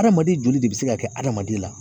Adamaden joli de bɛ se ka kɛ adamaden na.